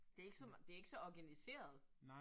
Det ikke så, det ikke så organiseret